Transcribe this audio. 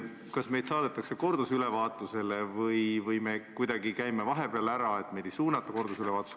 Kas meid saadetakse kordusülevaatusele või me kuidagi käime vahepeal ära ja meid ei suunata kordusülevaatusele?